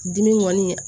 Dimi kɔni